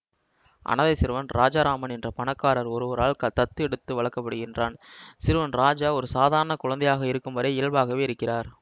அனாதை சிறுவன் ராஜாராமன் என்ற பணக்காரர் ஒருவரால் தத்து எடுத்து வளர்க்கப்படுகிறான்சிறுவன் ராஜா ஒரு சாதாரண குழந்தையாக இருக்கும்வரை இயல்பாகவே இருக்கிறார்